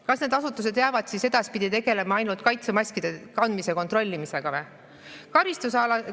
Kas need asutused jäävad siis edaspidi tegelema ainult kaitsemaskide kandmise kontrollimisega?